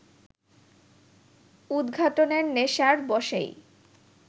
উৎঘাটনের নেশার বশেই